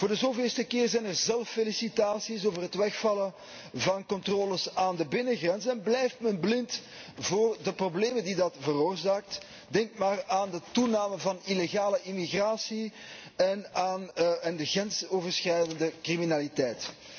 Voor de zoveelste keer zijn er zelffelicitaties over het wegvallen van controles aan de binnengrenzen en blijft men blind voor de problemen die dat veroorzaakt. Denk maar aan de toename van illegale immigratie en aan de grensoverschrijdende criminaliteit.